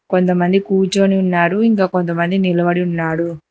కొంతమంది కూర్చొని ఉన్నారు ఇంకా కొంతమందినిలబడి ఉన్నారు.